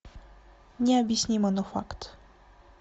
необъяснимо но факт